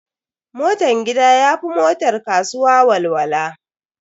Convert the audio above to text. Motan gida ya fi motar kasuwa walwala.